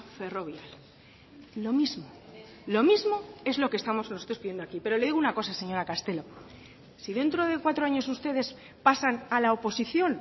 ferrovial lo mismo lo mismo es lo que estamos pidiendo aquí pero le digo una cosa señora castelo si dentro de cuatro años ustedes pasan a la oposición